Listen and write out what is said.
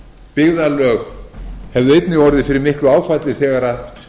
byggðarlög hefðu einnig orðið fyrir miklu áfalli þegar